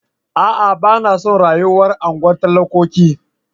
A'a! Ba na son rayuwar unguwar talakoki.